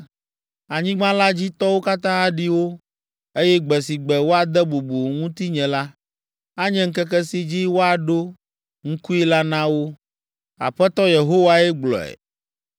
Anyigba la dzi tɔwo katã aɖi wo, eye gbe si gbe woade bubu ŋutinye la, anye ŋkeke si dzi woaɖo ŋkui la na wo.’ Aƒetɔ Yehowae gblɔe.